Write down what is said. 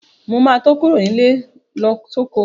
Mo ma tó kúrò nílé lọ sóko